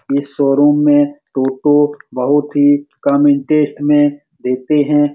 इस शो-रूम में टोटो बहुत ही कम इंटरेस्ट में देते है।